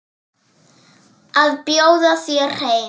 Að bjóða þér heim.